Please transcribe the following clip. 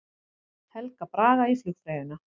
Helga Braga í flugfreyjuna